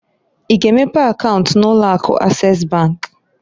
I ga emepe akaunt na ụlọ Akụ Ases bankǃ